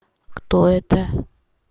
кто это